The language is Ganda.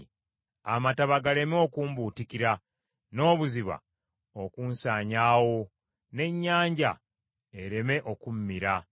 amataba galeme okumbuutikira n’obuziba okunsanyaawo, n’ennyanja ereme okummira.